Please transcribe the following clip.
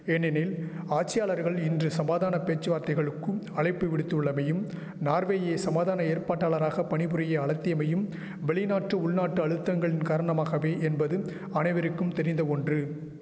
ஏனெனில் ஆட்சியாளர்கள் இன்று சமாதான பேச்சுவார்த்தைகளுக்கும் அழைப்பு விடுத்துள்ளமையும் நார்வேயை சமாதான ஏற்பாட்டாளராக பணிபுரிய அழத்திமையும் வெளிநாட்டு உள்நாட்டு அழுத்தங்கள் காரணமாகவே என்பதும் அனைவருக்கும் தெரிந்த ஒன்று